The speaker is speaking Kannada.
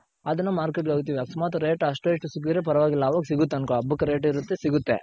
ಅದನ್ನ Market ಗೆ ಹಾಕ್ತಿವಿ ಅಕಸ್ಮಾತ್ ಏನಾದ್ರು rate ಅಷ್ಟೋ ಇಷ್ಟೋ ಸಿಗ್ದಿದ್ರೆ ಪರವಾಗಿಲ್ಲ ಅವಾಗ್ ಸಿಗುತ್ತ್ ಅನ್ಕೋ ಹಬ್ಬಕ್ rate ಇರುತ್ತೆ ಸಿಗುತ್ತೆ .